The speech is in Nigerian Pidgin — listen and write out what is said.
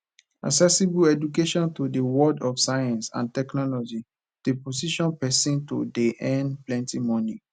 accessible education to di world of science and technology de position persin to de earn plenty moni